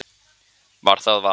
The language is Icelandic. Var það val?